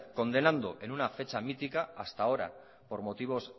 condenando en una fecha mítica hasta ahora por motivos